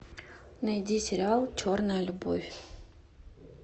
найди сериал черная любовь